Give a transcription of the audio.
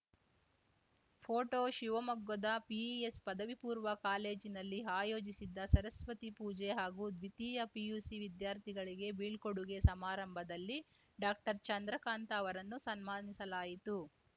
photo ಶಿವಮೊಗ್ಗದ PES ಪದವಿ ಪೂರ್ವ ಕಾಲೇಜಿನಲ್ಲಿ ಆಯೋಜಿಸಿದ್ದ ಸರಸ್ವತಿ ಪೂಜೆ ಹಾಗೂ ದ್ವಿತೀಯ ಪಿಯುಸಿವಿದ್ಯಾರ್ಥಿಗಳಿಗೆ ಬೀಳ್ಕೊಡುಗೆ ಸಮಾರಂಭದಲ್ಲಿ ಡಾಕ್ಟರ್ ಚಂದ್ರಕಾಂತ ಅವರನ್ನು ಸನ್ಮಾನಿಸಲಾಯಿತು